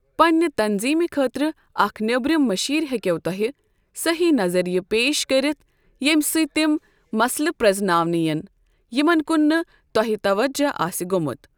پنٛنہِ تنٛظیٖمہِ خٲطرٕ اَکھ نیٚبرِم مٔشیر ہیٚکیٚو تۄہہِ صحیٖح نظرِیہِ پیش کٔرِتھ ییٚمہِ سۭتۍ تِم مسلہٕ پرزٕناونہٕ یِن یِمن کُن نہٕ تۄہہِ توجہ آسہِ گوٚمت۔